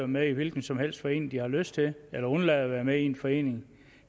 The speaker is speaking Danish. med i en hvilken som helst forening de har lyst til eller undlade at være med i en forening